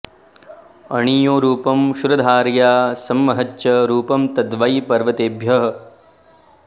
अणीयो रूपं क्षुरधारया समं महच्च रूपं तद्वै पर्वतेभ्यः